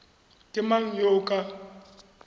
ke mang yo o ka